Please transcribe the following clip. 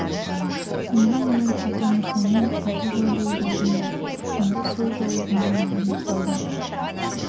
менің ұлым атамырзамен ата жау болып алдың да енді сол жаулығыңды маған да салдың